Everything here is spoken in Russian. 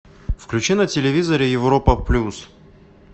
включи на телевизоре европа плюс